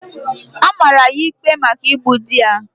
A mara ya ikpe maka igbu di ya.